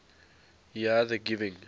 here the giving